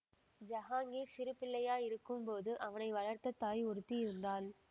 ஜஹாங்கீர் சிறுபிள்ளையா இருக்கும்போது அவனை வளர்த்த தாய் ஒருத்தி இருந்தாள்